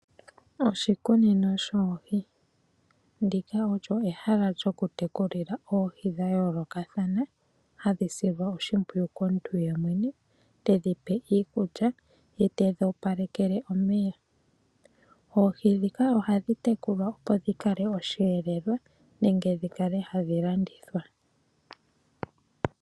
Oshikunino shoohi Ndika olyo ehala lyokutekulila oohi dha yoolokathana hadhi silwa oshimpwiyu komuntu yemwene, tedhi pe iikulya ye tedhi opalekele omeya. Oohi ndhika ohadhi tekulwa, opo dhi kale osheelelwa nenge dhi kale hadhi landithwa.